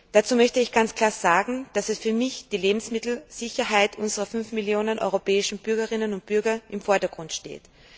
Dazu möchte ich ganz klar sagen, dass für mich die Lebensmittelsicherheit unserer 500 Millionen Bürgerinnen und Bürger im Vordergrund steht.